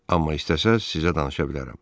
Amma istəsəz sizə danışa bilərəm.